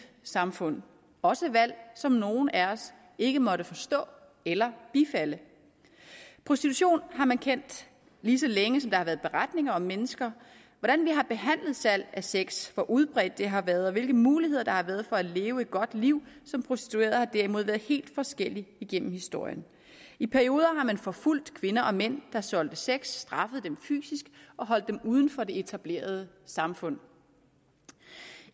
samfund også valg som nogle af os ikke måtte forstå eller bifalde prostitution har man kendt lige så længe som der har været beretninger om mennesker hvordan vi har behandlet salg af sex hvor udbredt det har været og hvilke muligheder der har været for at leve et godt liv som prostitueret har derimod været helt forskellige igennem historien i perioder har man forfulgt kvinder og mænd der solgte sex straffet dem fysisk og holdt dem uden for det etablerede samfund